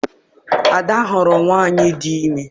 Ada hụrụ nwaanyị di ime.